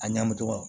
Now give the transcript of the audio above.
A ɲagamitɔ